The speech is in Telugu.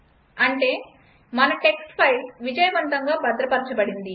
అంటే మన టెక్స్ట్ ఫైల్ విజయవంతంగా భద్రపరచబడింది